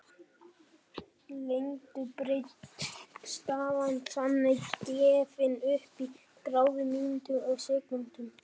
Lengd og breidd staða er þannig gefin upp í gráðum, mínútum og sekúndum.